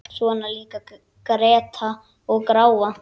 Svona líka gretta og gráa.